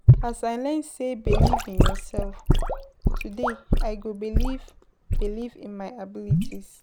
As I learn sey believe in yourself, today I go believe believe in my abilities